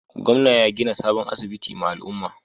Gwamnan ya gina sabon asibiti ma al'umman.